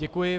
Děkuji.